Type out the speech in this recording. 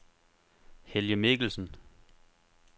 Helge Mikkelsen